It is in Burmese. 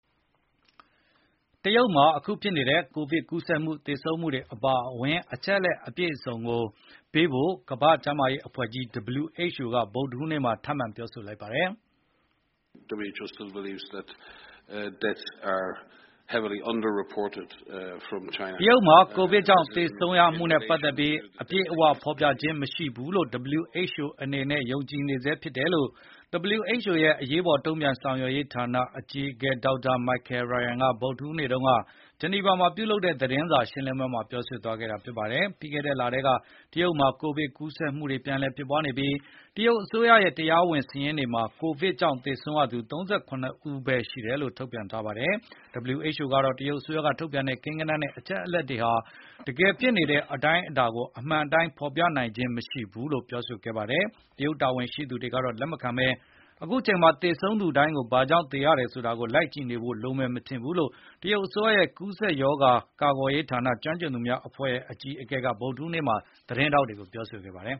တရုတ်မှာအခုဖြစ်နေတဲ့ ကိုဗစ်ကူးစက်မှု၊ သေဆုံးမှုတွေအပါအဝင် အချက်အလက်တွေကို ပြည့်ပြည့်စုံစုံပေးဖို့ ကမ္ဘာ့ကျန်းမာရေးအဖွဲ့ကြီး WHO က ဗုဒ္ဓဟူးနေ့မှာ ထပ်မံပြောလိုက်ပါတယ်။ “တရုတ်မှာကိုဗစ်ကြောင့်သေဆုံးရမှုနဲ့ပတ်သက်ပြီး အပြည့်အဝဖေါ်ပြခြင်းမရှိဘူးလို့ WHO အနေနဲ့ ယုံကြည်နေဆဲဖြစ်တယ်။” လို့ WHO ရဲ့အရေးပေါ်တုံ့ပြန်ဆောင်ရွက်ရေးဌာနအကြီးအကဲ Dr. Michael Ryan က ဗုဒ္ဓဟူးနေ့တုန်းက ဂျနီဗာမှာပြုလုပ်တဲ့သတင်းစာရှင်းလင်းပွဲမှာပြောခဲ့ပါတယ်။ ပြီးခဲ့တဲ့လထဲက တရုတ်မှာ ကိုဗစ်ကူးဆက်မှုတွေပြန်လည်ဖြစ်ပွားနေပြီး တရုတ်စိုးရရဲ့ တရားဝင်စာရင်းတွေမှာ ကိုဗစ်ကြောင့်သေဆုံးရသူ ၃၇ ဦးပဲရှိတယ်လို့ ထုတ်ပြန်ထားပါတယ်။ WHO ကတော့ တရုတ်အစိုးရကထုတ်ပြန်တဲ့ ကိန်းဂဏန်းနဲ့အချက်အလက်တွေဟာ တကယ်ဖြစ်နေတဲ့အတိုင်းအတာကို အမှန်အတိုင်း ဖေါ်ပြနိုင်ခြင်းမရှိဘူးလို့ပြောနေပါတယ်။ တရုတ်တာဝန်ရှိသူတွေကတော့ ဒါကိုလက်မခံဘဲ “အခုအချိန်မှာ သေဆုံးသူတိုင်း ဘာကြောင့်သေရတယ်ဆိုတာကို လိုက်ကြည့်နေဖို့လိုမယ်မထင်ဘူး။” လို့ တရုတ်အစိုးရရဲ့ ကူးစက်ရောဂါကာကွယ်ရေးဌာနက ကျွမ်းကျင်သူများအဖွဲ့ အကြီးအကဲ Liang Wannian က ဗုဒ္ဓဟူးနေ့မှာ သတင်းထောက်တွေကိုပြောခဲ့ပါတယ်